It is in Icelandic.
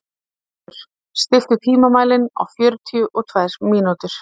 Oddur, stilltu tímamælinn á fjörutíu og tvær mínútur.